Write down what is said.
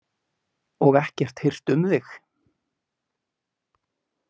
Og ekkert hirt um þig.